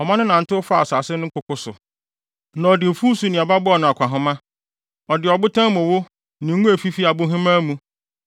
Ɔma no nantew faa asase no nkoko so; na ɔde mfuw so nnuaba bɔɔ no akɔnhama; Ɔde ɔbotan mu wo ne ngo a efi abohemaa mu,